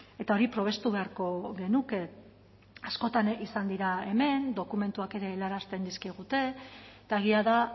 eta hori probestu beharko genuke askotan izan dira hemen dokumentuak ere helarazten dizkigute eta egia da